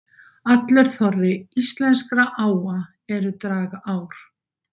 Allur þorri íslenskra áa eru dragár.